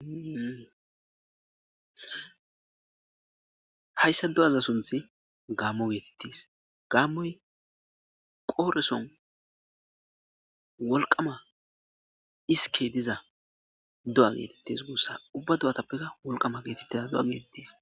hayssa do7aza sunthi gaammo geetettis gaammoy qooreson wolqama hisike diza do7a geetettes guussa ubba do7atappekka wolqama geetettiza do7a geetettis